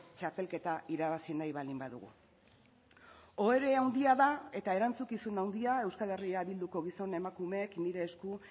txapelketa irabazi nahi baldin badugu ohore handia da eta erantzukizun handia euskal herria bilduko gizon emakumeek nire esku